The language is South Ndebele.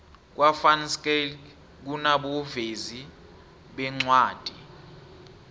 kwa van schaick kunabovezi beencwadi